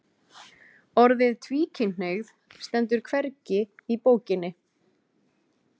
Orðið tvíkynhneigð stendur hvergi í bókinni